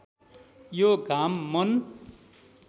यो घाम मन